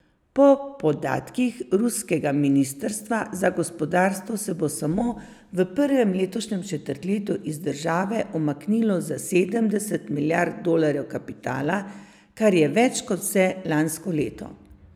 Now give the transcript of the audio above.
Po podatkih ruskega ministrstva za gospodarstvo se bo samo v prvem letošnjem četrtletju iz države umaknilo za sedemdeset milijard dolarjev kapitala, kar je več kot vse lansko leto.